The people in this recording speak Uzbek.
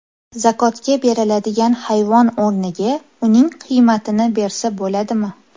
Zakotga beriladigan hayvon o‘rniga uning qiymatini bersa bo‘ladimi?